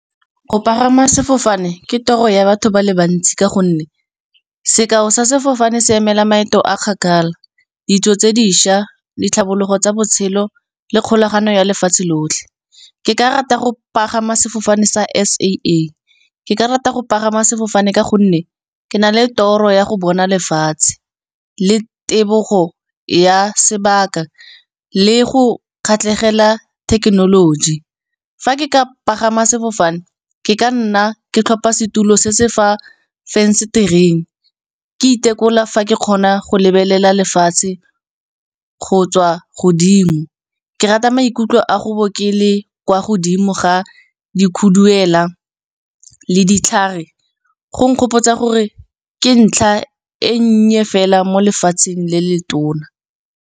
Go pagama sefofane ke toro ya batho ba le bantsi, ka gonne sekao sa sefofane se emela maeto a kgakala. Ditso tse dišwa le tlhabologo tsa botshelo, le kgolagano ya lefatshe lotlhe. Ke ka rata go pagama sefofane sa S_A_A, ke ka rata go pagama sefofane ka gonne ke na le toro ya go bona lefatshe, le tebogo ya sebaka le go kgatlhegela thekenoloji. Fa ke ka pagama sefofane ke ka nna ke tlhopha setulo se se fa venster-eng, ke itekola fa ke kgona go lebelela lefatshe, go tswa godimo. Ke rata maikutlo a go bo ke le kwa godimo ga dikhuduela le ditlhare go nkgopotsa gore ke ntlha e nnye fela mo lefatsheng le le tona.